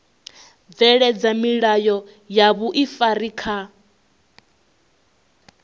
bveledza milayo ya vhuifari kha